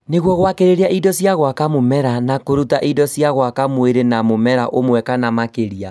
nĩguo kwagĩrĩria indo cia gwaka mũmera na kũruta indo cia gwaka mwĩrĩ na mũmera ũmwe kana makĩria